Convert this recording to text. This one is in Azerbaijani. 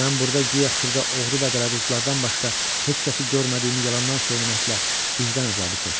Mən burda guya xırda oğru və dələduzlardan başqa heç kəsi görmədiyimi yalandan söyləməklə vicdan əzabı çəkdim.